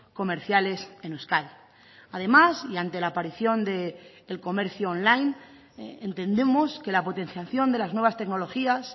comerciales en euskadi además y ante la aparición del comercio online entendemos que la potenciación de las nuevas tecnologías